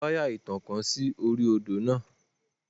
Wọ́n fi wáyà ìtànká sí orí odì náà.